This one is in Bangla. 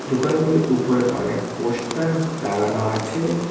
দোকানগুলির উপরে অনেক পোস্টার লাগানো আছে।